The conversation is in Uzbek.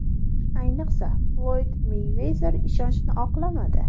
Ayniqsa, Floyd Meyvezer ishonchni oqlamadi.